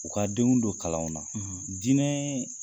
U ka denw don kalanw na dinɛɛ